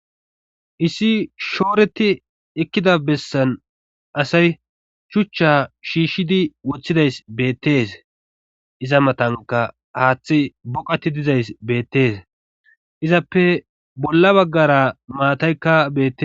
issi shooreti ekkida bessan asay chuchcha shiishshidi wothiidays beettes iza matanka haaththi boqati dizays beettees izappe bolla baggara maataykka bete